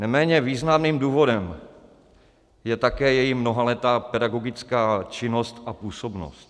Neméně významným důvodem je také její mnohaletá pedagogická činnost a působnost.